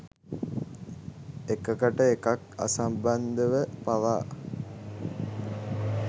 එකකට එකක් අසම්බන්ධව පවා